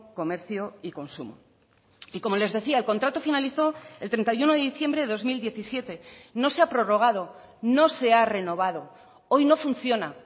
comercio y consumo y como les decía el contrato finalizó el treinta y uno de diciembre de dos mil diecisiete no se ha prorrogado no se ha renovado hoy no funciona